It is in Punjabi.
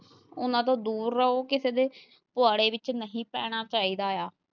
ਉਹਨਾਂ ਤੋਂ ਦੂਰ ਰਹੋ ਕਿਸੇ ਦੇ ਪੁਆੜੇ ਵਿੱਚ ਨਹੀਂ ਪੈਣਾ ਚਾਹੀਦਾ ਆ।